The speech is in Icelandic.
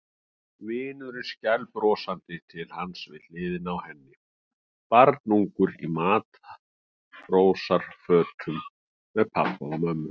Vinurinn skælbrosandi til hans við hliðina á henni, barnungur í matrósafötum með pabba og mömmu.